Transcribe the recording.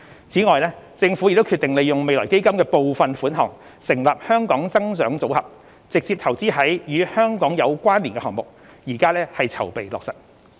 此外，政府已決定利用未來基金的部分款項成立"香港增長組合"，直接投資於"與香港有關連"的項目，現正籌備落實。